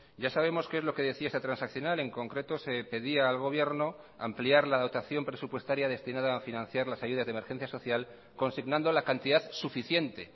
ya sabemos qué es lo que decía esa transaccional en concreto se pedía al gobierno ampliar la dotación presupuestaria destinada a financiar las ayudas de emergencia social consignando la cantidad suficiente